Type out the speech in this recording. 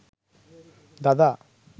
দাদা